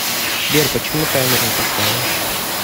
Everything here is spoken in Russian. сбер почему таймер не поставила